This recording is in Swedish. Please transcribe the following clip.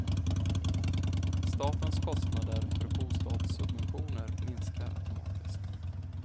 Statens kostnader för bostadssubventioner minskar automatiskt.